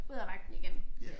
Ud af vagten igen